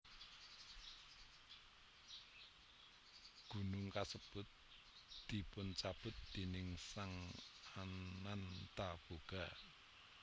Gunung kasebut dipuncabut déning Sang Anantabhoga